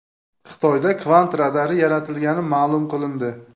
Xitoyda kvant radari yaratilgani ma’lum qilindi.